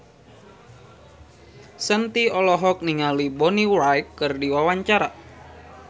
Shanti olohok ningali Bonnie Wright keur diwawancara